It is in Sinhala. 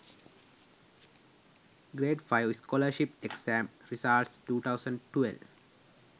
grade 5 scholarship exam results 2012